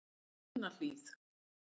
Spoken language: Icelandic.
Brúnahlíð